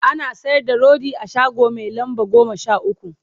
ana sayar da rodi a shago Mai lamba goma Sha ukwu